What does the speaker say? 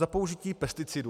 Za použití pesticidů.